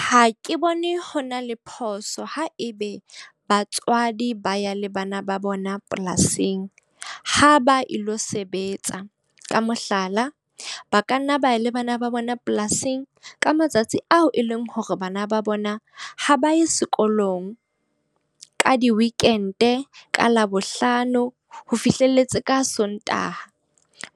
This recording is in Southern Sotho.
Ha ke bone ho na le phoso haebe batswadi ba ya le bana ba bona polasing, ha ba ilo sebetsa. Ka mohlala, ba ka nna ba le bana ba bona polasing ka matsatsi ao e leng hore bana ba bona ha ba ye sekolong, ka di-weekend, ka Labohlano ho fihlelletse ka Sontaha.